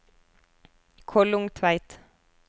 Kollungtveit